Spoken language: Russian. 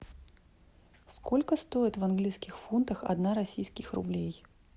сколько стоит в английских фунтах одна российских рублей